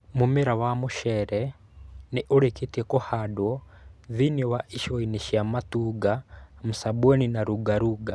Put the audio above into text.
Mu͂mera wa mu͂ceere ni͂ u͂ri͂ki͂tie ku͂handwo thiini wa icigoini͂ cia Matuga, Msambweni na Lungalunga.